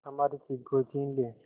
हमारी चीज कोई छीन ले